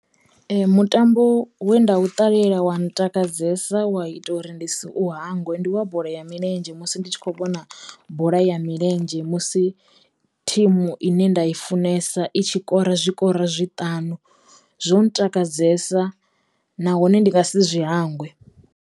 Mutambo we nda u ṱalela wa ntakadzesa wa ita uri ndi si u hangwe ndi wa bola ya milenzhe musi ndi tshi kho vhona bola ya milenzhe musi thimu ine nda i funesa i tshi kora zwikoro zwiṱanu zwo ntakadzesa nahone ndi nga si zwi hangwe.